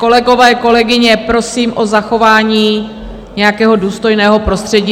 Kolegové, kolegyně, prosím o zachování nějakého důstojného prostředí.